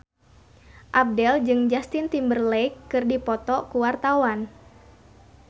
Abdel jeung Justin Timberlake keur dipoto ku wartawan